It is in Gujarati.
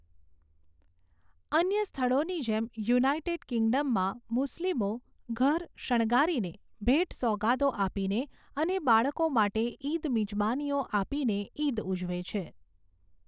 અન્ય સ્થળોની જેમ, યુનાઇટેડ કિંગડમમાં મુસ્લિમો ઘર શણગારીને, ભેટસોગાદો આપીને અને બાળકો માટે ઈદ મિજબાનીઓ આપીને ઈદ ઉજવે છે.